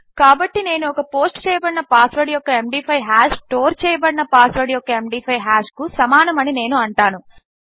కాబట్టి నేను ఒక పోస్ట్ చేయబడిన పాస్ వర్డ్ యొక్క ఎండీ5 హాష్ స్టోర్ చేయబడిన పాస్ వర్డ్ యొక్క ఎండీ5 హాష్ కు సమానము అని నేను అంటాను